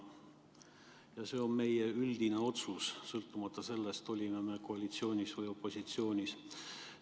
Ja see on meie üldine otsus, sõltumata sellest, kas me oleme koalitsioonis või opositsioonis.